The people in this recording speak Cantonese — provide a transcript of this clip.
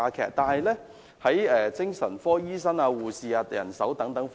然而，精神科醫生及護士等人手並沒有增加。